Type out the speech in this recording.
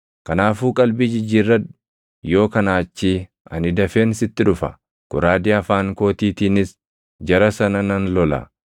Kanaafuu qalbii jijjiirradhu! Yoo kanaa achii ani dafeen sitti dhufa; goraadee afaan kootiitiinis jara sana nan lola.